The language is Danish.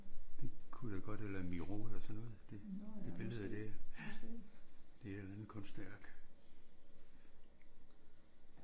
Det kunne det godt eller en Miros eller sådan noget det billede der. Det er et eller andet kunstværk